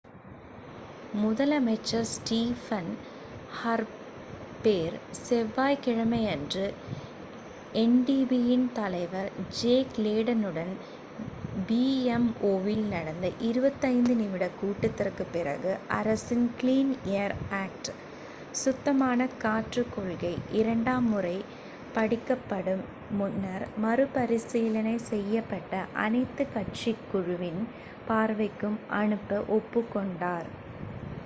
முதலமைச்சர் Stephen Harper செவ்வாய்க் கிழமையன்று எண்டிபியின் தலைவர் ஜேக் லேடனுடன் பிஎம்ஓவில் நடந்த 25 நிமிட கூட்டத்திற்குப் பிறகு அரசின் 'க்ளீன் ஏர் ஆக்ட்/சுத்தமான காற்றுக் கொள்கை' இரண்டாம் முறை படிக்கப்படும் முன்னர் மறுபரிசீலனை செய்யப்பட அனைத்துக் கட்சிக் குழுவின் பார்வைக்கு அனுப்ப ஒப்புக்கொண்டார்